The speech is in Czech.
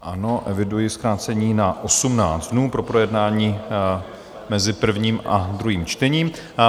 Ano, eviduji zkrácení na 18 dnů pro projednání mezi prvním a druhým čtením.